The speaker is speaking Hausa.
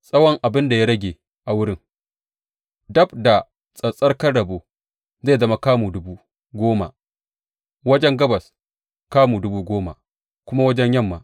Tsawon abin da ya rage a wurin, dab da tsattsarkan rabo, zai zama kamu dubu goma wajen gabas, kamu dubu goma kuma wajen yamma.